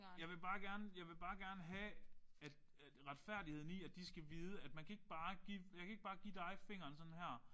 Jeg vil bare gerne jeg vil bare gerne have at at retfærdigheden i at de skal vi at man kan ikke bare give man kan ikke bare give dig fingeren sådan her